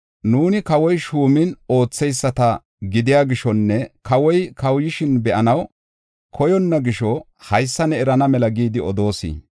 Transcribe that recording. Nuuni kawoy shuumin ootheyisata gidiya gishonne kawoy kawuyishin be7anaw koyonna gisho haysa ne erana mela gidi odoos.